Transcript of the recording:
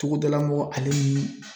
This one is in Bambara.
Togodala mɔgɔ ale ni